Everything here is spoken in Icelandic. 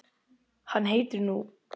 Hann heitir nú